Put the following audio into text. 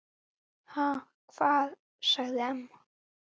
Ha, hvað? sagði amma.